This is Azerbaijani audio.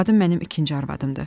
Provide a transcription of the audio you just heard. Qadın mənim ikinci arvadımdır.